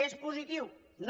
és positiu no